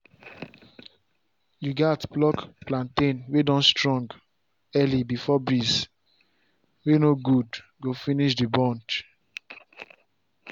you gats pluck plantain wey don strong early before breeze wey no good go fininsh the bunch